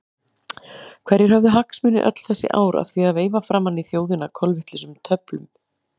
Hverjir höfðu hagsmuni öll þessi ár af því að veifa framan í þjóðina kolvitlausum tölum?